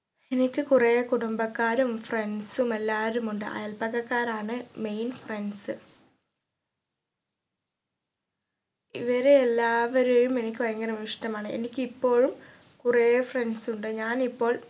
എനിക്ക് കുറേ കുടുംബക്കാരും friends ഉം എല്ലാരുമുണ്ട് അയല്പക്കക്കാരാണ് main friends ഇവരെ എല്ലാവരെയും എനിക്ക് ഭയങ്കരമായി ഇഷ്ട്ടമാണ് എനിക്ക് ഇപ്പോഴും കുറേ friends ഉണ്ട് ഞാൻ ഇപ്പോൾ